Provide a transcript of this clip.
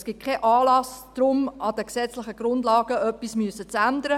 Es besteht kein Anlass, deshalb an den gesetzlichen Grundlagen etwas ändern zu müssen.